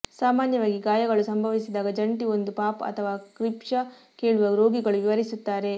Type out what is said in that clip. ಸಾಮಾನ್ಯವಾಗಿ ಗಾಯಗಳು ಸಂಭವಿಸಿದಾಗ ಜಂಟಿ ಒಂದು ಪಾಪ್ ಅಥವಾ ಕ್ಷಿಪ್ರ ಕೇಳುವ ರೋಗಿಗಳು ವಿವರಿಸುತ್ತಾರೆ